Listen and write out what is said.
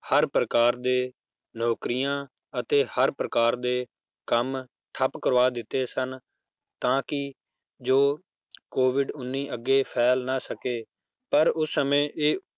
ਹਰ ਪ੍ਰਕਾਰ ਦੇ ਨੌਕਰੀਆਂ ਅਤੇ ਹਰ ਪ੍ਰਕਾਰ ਦੇ ਕੰਮ ਠੱਪ ਕਰਵਾ ਦਿੱਤੇੇ ਸਨ ਤਾਂ ਕਿ ਜੋ COVID ਉੱਨੀ ਫੈਲ ਨਾ ਸਕੇ, ਪਰ ਉਸ ਸਮੇਂ ਇਹ